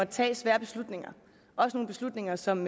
tage svære beslutninger også nogle beslutninger som